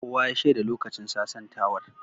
Kowa ya shaida lokacin sasantawar.